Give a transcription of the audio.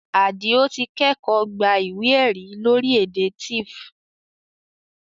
Àdìó ti kẹ́kọ̀ọ́ gba ìwé ẹ̀rí lórí èdè Tiv